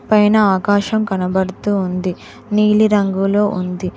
పైన ఆకాశం కనబడుతూ ఉంది నీలిరంగులో ఉంది.